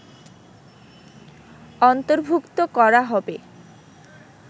অন্তর্ভুক্ত করা হবে